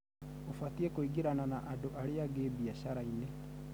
ũbatĩi kũingĩrana na andũ arĩangĩ biasharainĩ